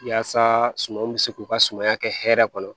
Yaasa sumanw bɛ se k'u ka sumaya kɛ hɛrɛ kɔnɔ